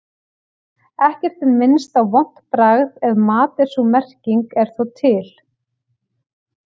Ekkert er minnst á vont bragð af mat en sú merking er þó til.